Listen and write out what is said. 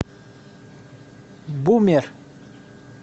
бумер